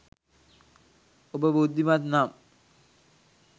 ඔබ බුද්ධිමත් නම්